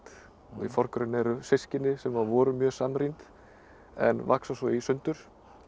í forgrunni eru systkini sem voru mjög samrýmd en vaxa svo í sundur